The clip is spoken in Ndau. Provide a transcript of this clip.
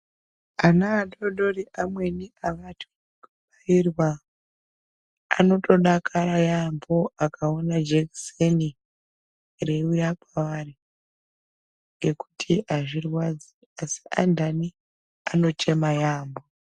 Ana adoodori amweni avathyi kubairwa anotodakara yampho akaona jekiseni reiuya kwavari nekuti azvirwadzi asi antani anochema yampho.